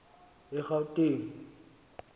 egauteng